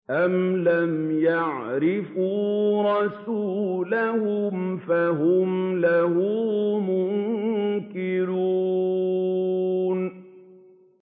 أَمْ لَمْ يَعْرِفُوا رَسُولَهُمْ فَهُمْ لَهُ مُنكِرُونَ